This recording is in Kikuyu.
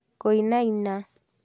Kũinaina